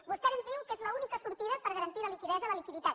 vostè ens diu que és l’única sortida per garantir la liquiditat